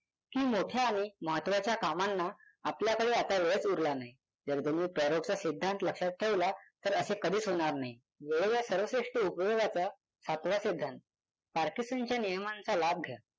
कि मोठ्या आणि महात्चाच्या कामांना आपल्याकडे आता वेळच उरला नाही. जर तुम्ही पॅरेटोचा सिद्धांत लक्षात ठेवला तर असे कधीच होणार नाही. वेळाच्या सर्वश्रेष्ठ उपयोगाचा सातवा सिद्धांत. पार्किन्सनच्या नियमाचा लाभ घ्या.